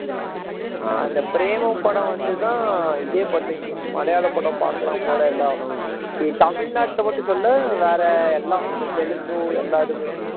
அந்த பிரேமம் படம் வந்து தான் இதே பண்ணுச்சு மலையாள படம் பாக்கலாம் போல எல்லாம் தமிழ்நாட்டில் மட்டும் சொல்லல வேற எல்லாம் இந்த தெலுங்கு எல்லா இதுமே